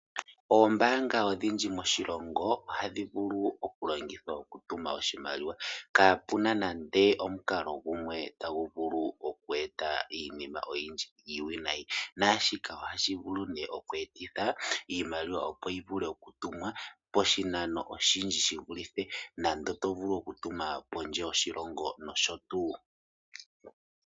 Ombaanga odhindji moshilongo ohadhi vulu okulongithwa okutuma iimaliwa kapena iinima oyindji iiwinayi. Ohashi vulu oku etithwa iimaliwa yi tumwe poshinano oshinene ngaashi kondje yoshilongo.